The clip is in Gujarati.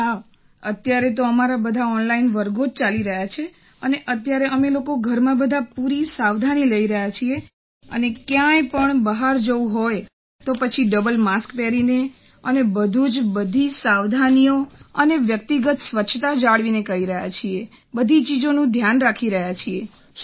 હા અત્યારે તો અમારા બધા ઑનલાઇન વર્ગો ચાલી રહ્યા છે અને અત્યારે અમે લોકો ઘરમાં બધાં પૂરી સાવધાની લઈ રહ્યાં છીએ અને ક્યાંય પણ બહાર જવું હોય તો પછી ડબલ માસ્ક પહેરીને અને બધું જ બધી સાવધાનીઓ અને વ્યક્તિગત સ્વચ્છતા જાળવીને કરી રહ્યાં છીએ બધી ચીજોનું ધ્યાન રાખી રહ્યાં છીએ